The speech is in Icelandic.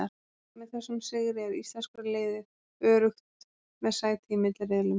Með þessum sigri er íslenska liðið öruggt með sæti í milliriðlum.